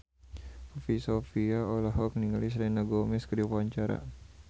Poppy Sovia olohok ningali Selena Gomez keur diwawancara